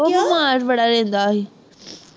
ਉਹ ਬਿਮਾਰ ਬੜਾ ਰਹਿੰਦਾ ਸੀ